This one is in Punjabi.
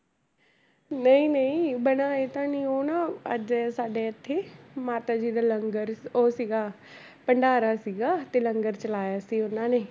ਨਹੀਂ ਨਹੀਂ ਬਣਾਏ ਤਾਂ ਨੀ, ਉਹ ਨਾ ਅੱਜ ਸਾਡੇ ਇੱਥੇ ਮਾਤਾ ਜੀ ਦਾ ਲੰਗਰ ਉਹ ਸੀਗਾ ਭੰਡਾਰਾ ਸੀਗਾ ਤੇ ਲੰਗਰ ਚਲਾਇਆ ਸੀ ਉਹਨਾਂ ਨੇ।